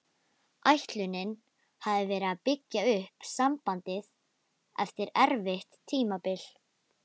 Ætlunin hafði verið að byggja upp sambandið eftir erfitt tímabil.